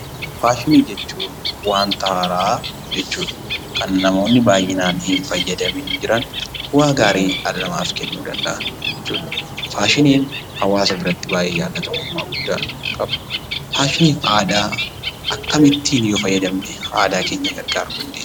Faashini jechuun; wanta haaraa jechuudha. Kan namooni baay'inan hin faayyadamin jiraan bu'a gaarii Kan nama kennuu danda'aan jechuudha faashinin hawaasa biraatti baay'ee jaalatamumma guddaa qaba..faashinin aadaa akkamittin yoo faayyadamne aadaa keenyaa gargaruu dandeenyaa?